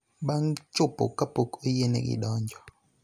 bang� chopo kapok oyienegi donjo.